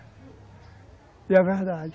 E é verdade.